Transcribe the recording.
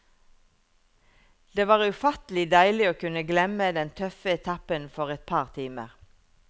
Det var ufattelig deilig å kunne glemme den tøffe etappen for et par timer.